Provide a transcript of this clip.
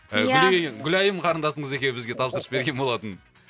ия гүлайым қарындасыңыз екеуі бізге тапсырыс берген болатын